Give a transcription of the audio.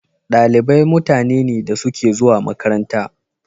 Dalibai mutane ne da suke zuwa makaranta.